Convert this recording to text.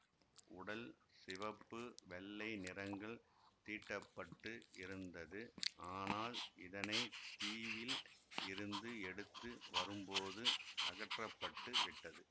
உடல் சிவப்பு வெள்ளை நிறங்கள் தீட்டப்பட்டு இருந்தது ஆனால் இதனை தீவில் இருந்து எடுத்து வரும்போது அகற்றப்பட்டுவிட்டது